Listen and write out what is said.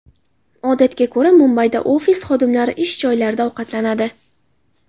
Odatga ko‘ra, Mumbayda ofis xodimlari ish joylarida ovqatlanadi.